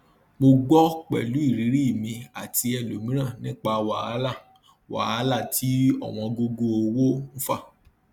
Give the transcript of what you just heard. mo gbọ pẹlú irírí mi àti ẹlòmíràn nípa wahalà wahalà tí òwóngógó owó fa